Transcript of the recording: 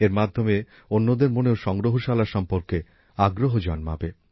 এর মাধ্যমে অন্যদের মনেও সংগ্রহশালা সম্পর্কে আগ্রহ জন্মাবে